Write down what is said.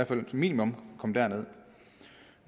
som et minimum kom derned